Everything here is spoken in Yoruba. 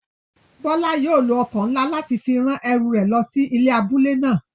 Bola yóò lo oko nla lati fi ran eru re lo si abule náa.